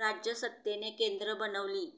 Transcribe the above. राजसत्तेचे केंद्र बनविली